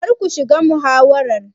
Kar ku shiga muhawarar.